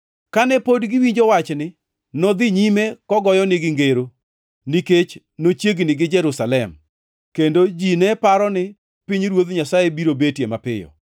Kane pod giwinjo wachni, nodhi nyime kogoyonegi ngero, nikech nochiegni gi Jerusalem, kendo ji ne paro ni pinyruoth Nyasaye biro betie mapiyo.